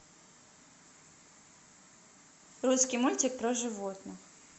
русский мультик про животных